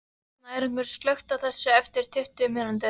Snæringur, slökktu á þessu eftir tuttugu mínútur.